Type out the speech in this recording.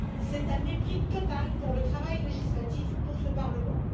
C'est un mépris total pour le travail législatif, pour ce Parlement.